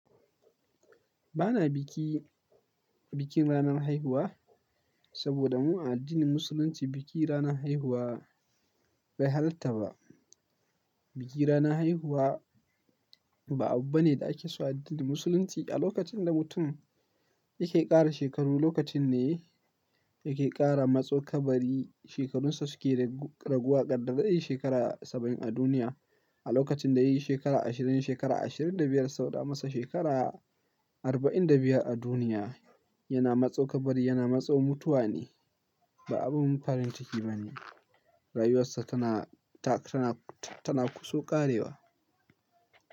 Ba na biki, bikin ranar haihuwa saboda mu a addinin musulunci biki ranar haihuwa bai halatta ba. Biki ranar haihuwa ba abu bane da ake so a addinin musulunci. A lokacin da mutum yake ƙara shekaru, lokacin ne yake ƙara matso kabari. Shekarunsa suke raguwa, gaddar be zai shekara saba'in a duniya. A lokacin da yayi shekara ashirin, shekara ashirin da biyar sau da masa shekara arba'in da biyar a duniya, yana matso kabari, yana matso mutuwa ne, ba abin farin ciki bane. Rayuwarsa tana, ta, tana, ta, tana kuso ƙarewa.